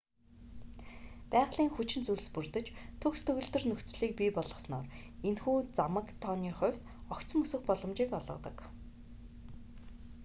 байгалийн хүчин зүйлс бүрдэж төгс төгөлдөр нөхцөлийг бий болгосноор энэхүү замаг тооны хувьд огцом өсөх боломжийг олгодог